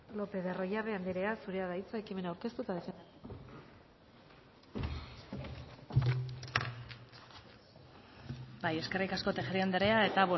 lopez de arroyabe anderea zurea da hitza ekimena ordeztu eta defendatu bai eskerrik asko tejeria andrea eta